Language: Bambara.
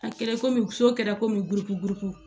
A kɛra komi so kɛra komi buruku buruku